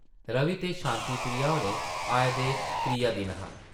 रवि ते शांति प्रिया होरें आए दे त्रिया दिन हा ।